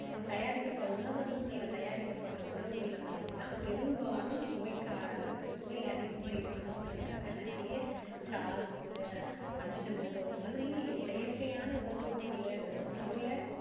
தயாரிக்கப்படுற உணவகங்களில தயாரிக்கப்படுற உண்வுகளில பார்த்தீங்கன்னா பொரும்பாலும் சுவைக்கா~ சுவை அதிகமா இருக்கணுறதுக்காக நிறைய sauce ajinomoto இந்த மாதிரி செயற்கையான உணவூட்டிகளை உணவுல,